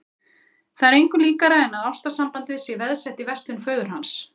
Það er engu líkara en að ástar- sambandið sé veðsett í verslun föður hans.